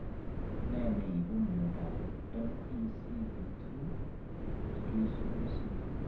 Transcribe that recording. Ne ne ipu miondap MECP2 duplication syndrome?